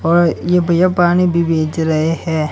और ये भैया पानी भी बेच रहे हैं।